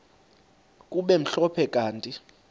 kube mhlophe kanti